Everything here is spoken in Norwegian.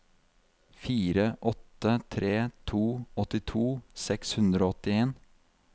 fire åtte tre to åttito seks hundre og åttien